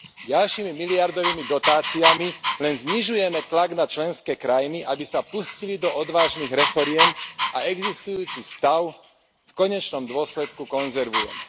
Ďalšími miliardovými dotáciami len znižujeme tlak na členské krajiny, aby sa pustili do odvážnych reforiem, a existujúci stav v konečnom dôsledku konzervujeme.